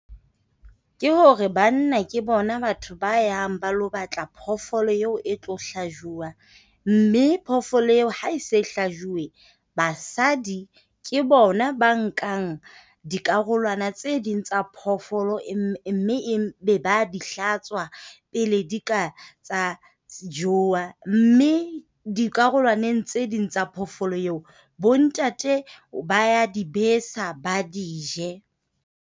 Ke hore banna ke bona batho ba yang ba lo batla phoofolo eo e tlo hlajuwa. Mme phoofolo eo ha e se hlajuwe, basadi ke bona ba nkang dikarolwana tse ding tsa phoofolo mme e be ba di hlatswa pele di ka tsa jowa. Mme dikarolwaneng tse ding tsa phoofolo eo bo ntate ba ya di besa ba di je.